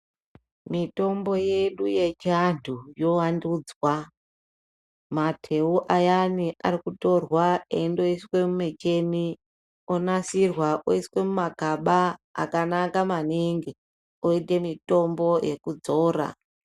Mitombo yedu yechiantu yovandudzwa. Mateu ayani akutorwa endoiswe mumichini onasirwa oiswe mumagaba akanaka maningi oite mitombo yekudzora.